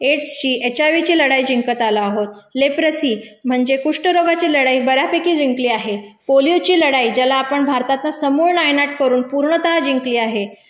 एड्सची, HIV लढाई जिंकत आलो आहोत, लेप्रसी म्हणजे कुष्ठरोगाची लढाई बऱ्यापैकी जिंकली आहे, पोलिओची लढाई ज्याला आपण भारतातनं समूळ नायनाट करून पूर्णतः जिंकली आहे,